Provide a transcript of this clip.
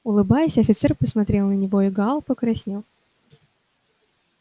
улыбаясь офицер посмотрел на него и гаал покраснел